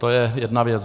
To je jedna věc.